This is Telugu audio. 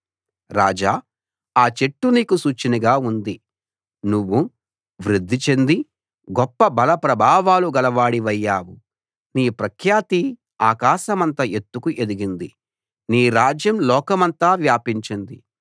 రాజా ఆ చెట్టు నీకు సూచనగా ఉంది నువ్వు వృద్ధిచెంది గొప్ప బల ప్రభావాలు గలవాడివయ్యావు నీ ప్రఖ్యాతి ఆకాశమంత ఎత్తుకు ఎదిగింది నీ రాజ్యం లోకమంతా వ్యాపించింది